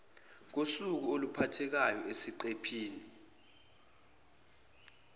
kosuku oluphathekayo esiqephini